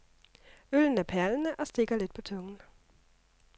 Øllen er perlende og stikker lidt på tungen.